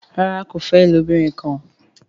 ràrá kò fè ilobirin kán.